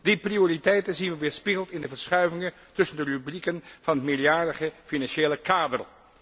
Die prioriteiten zien we weerspiegeld in de verschuivingen tussen de rubrieken van het meerjarige financiële kader.